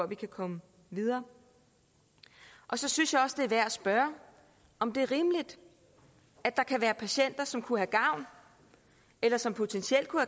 vi kan komme videre så synes jeg også det er værd at spørge om det er rimeligt at der kan være patienter som kunne have gavn eller som potentielt kunne